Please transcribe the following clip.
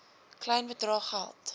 klein bedrae geld